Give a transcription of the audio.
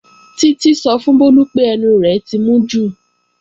Títí sọ fún Bólú pé ẹnu rẹ̀ ti mú jù